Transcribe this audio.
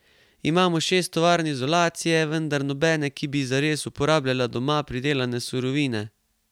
Imamo šest tovarn izolacije, vendar nobene, ki bi zares uporabljala doma pridelane surovine.